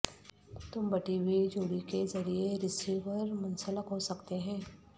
تم بٹی ہوئی جوڑی کے ذریعے رسیور منسلک ہو سکتے ہیں